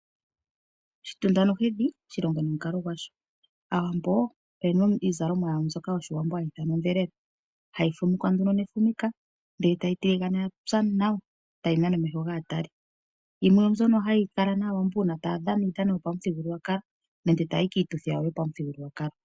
Shitunda nohedhi oshilongo nomukalo gwasho. Aawambo oyena iizalomwa yawo mbyoka yoshiwambo hayi ithanwa odhelela, hayi fumikwa nduno nefumika ndele tayi tiligana yapya nawa, tayi nana omeho gaatali, yimwe oombyono haya kala nayo uuna tayadhana uudhano wopamuthigululwakalo nenge taya yi kiituthi yawo yopamuthigululwakalo.